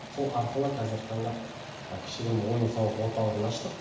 сол арқылы қазіргі таңда кішігірім ойын сауық орталығын аштық